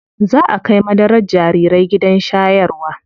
Zaa a kai madarar jarirai gidan shayarwa.